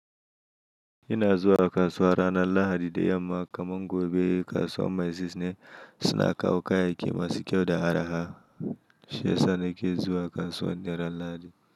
Ina zuwa kasuwa ranar Lahadi da yamma kamar gobe kasuwar Maiziz ne suna kawo kayayyaki masu kyau da araha. Shi yasa nake zuwa kasuwar duk ran Lahadi.